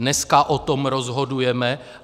Dneska o tom rozhodujeme.